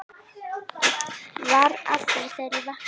Var að því þegar ég vaknaði.